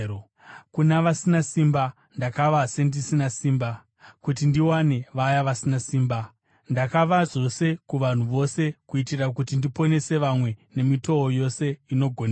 Kuna vasina simba ndakava sendisina simba, kuti ndiwane vaya vasina simba. Ndakava zvose kuvanhu vose kuitira kuti ndiponese vamwe nemitoo yose inogoneka.